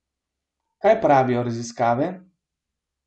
Kaj pravijo raziskave?